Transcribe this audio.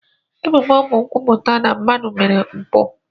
Ebubo bụ nkwupụta na mmadụ mere mpụ.